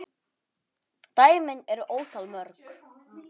Dæmin eru ótal mörg.